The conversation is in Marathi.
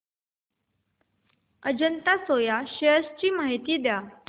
अजंता सोया शेअर्स ची माहिती द्या